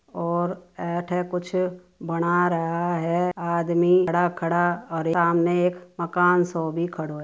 और ए अठे कुछ बना रहा है आदमी खड़ा-खड़ा और सामने एक मकान सो भी खड़ो हैं।